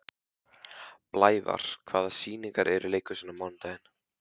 Blævar, hvaða sýningar eru í leikhúsinu á mánudaginn?